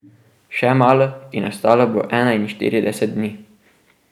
Še malo in ostalo bo enainštirideset dni.